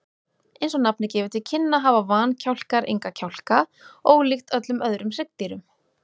Eins og nafnið gefur til kynna hafa vankjálkar enga kjálka, ólíkt öllum öðrum hryggdýrum.